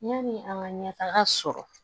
Yani an ka ɲɛtaga sɔrɔ